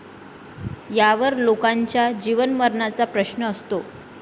यावर लोकांच्या जीवनमरणाचा प्रश्न असतो.